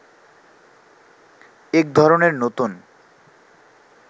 এক ধরনের নতুন